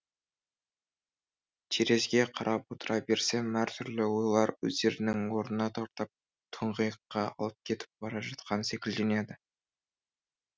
терезге қарап отыра берсем әртүрлі ойлар өздерінің орына тартып тұңғиыққа алып кетіп бара жатқан секілденеді